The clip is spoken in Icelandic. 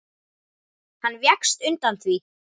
Hann vékst undan því.